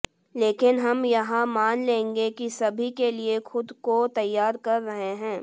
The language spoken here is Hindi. लेकिन हम यह मान लेंगे कि सभी के लिए खुद को तैयार कर रहे हैं